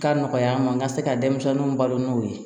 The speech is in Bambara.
Ka nɔgɔya an ma n ka se ka denmisɛnninw balo n'o ye